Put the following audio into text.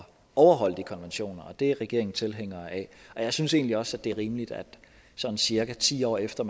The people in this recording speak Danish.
overholde de konventioner og det er regeringen tilhænger af og jeg synes egentlig også det er rimeligt at sådan cirka ti år efter